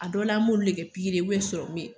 A dɔ la m'olu de kɛ pikiri ye serɔmu ye.